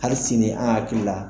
Hali sini an hakili la